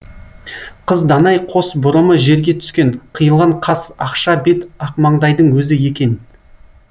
қыз данай қос бұрымы жерге түскен қиылған қас ақша бет ақмаңдайдың өзі екен